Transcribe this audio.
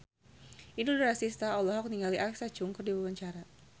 Inul Daratista olohok ningali Alexa Chung keur diwawancara